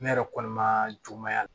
Ne yɛrɛ kɔni ma juguya